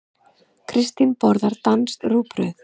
Kristín borðar danskt rúgbrauð.